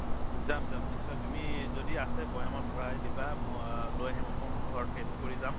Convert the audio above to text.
যাম যাম নিশ্চয় তুমি যদি আছে বৈয়ামত ভৰাই দিবা। মই লৈ আহিম। অকন ঘৰত taste কৰি যাম।